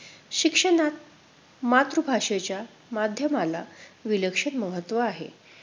शिक्षणात मातृभाषेच्या माध्यमाला विलक्षण महत्त्व आहे.